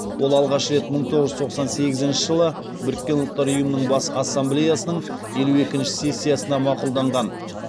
ол алғаш рет мың тоғыз жүз тоқсан сегізінші жылы біріккен ұлттар ұйымының бас ассамблеясының елу екінші сессиясына мақұлданған